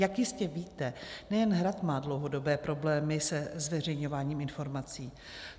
Jak jistě víte, nejen Hrad má dlouhodobé problémy se zveřejňováním informací.